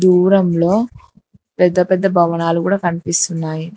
దూరంలో పెద్ద పెద్ద భవనాలు గూడ కనిపిస్తున్నాయి.